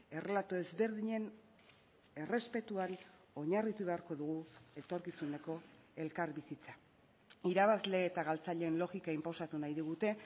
errelato ezberdinen errespetuari oinarritu beharko dugu etorkizuneko elkarbizitza irabazle eta galtzaileen logika inposatu nahi digute